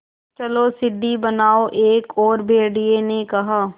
चलो सीढ़ी बनाओ एक और भेड़िए ने कहा